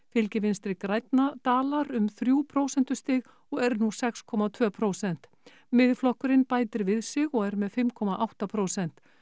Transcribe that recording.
fylgi Vinstri grænna dalar um þrjú prósentustig og er nú sex komma tvö prósent Miðflokkurinn bætir við sig og er með fimm komma átta prósent